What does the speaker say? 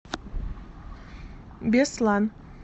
беслан